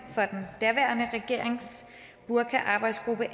den daværende regerings burkaarbejdsgruppe